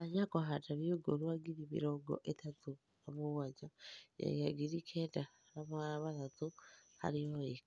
tanya kũhanda mĩũngũrũa ngĩrĩ mĩrongo ĩtatũ na mũgwanja ngĩnyagĩa ngĩrĩ kenda na magana matatũ harĩ ĩka